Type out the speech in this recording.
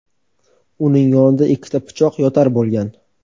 Uning yonida ikkita pichoq yotar bo‘lgan.